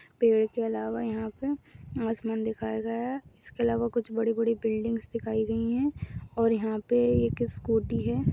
पेड़ के अलावा यहाँ पे आसमान दिखाई दे रहा इसके अलावा कुच्छ बड़ी बड़ी बिल्डिंगस दिखाई गई है और यहा पे एक स्कूटी है।